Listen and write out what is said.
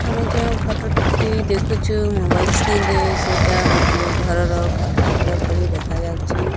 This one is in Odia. ଆମେ ଯେଉଁ ଫଟୋ ଟି ଦେଖୁଛୁ ମୋବାଇଲ୍ ସ୍କ୍ରିନ୍ ରେ ସେଇଟା ଗୋଟିଏ ଘରର ଫଟୋ ଚିତ୍ର ପରି ଦେଖାଯାଉଛି।